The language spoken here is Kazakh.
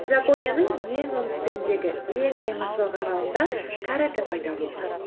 жапонияның ең оңтүстігіндегі ең жайма шуақ аралында карате пайда болған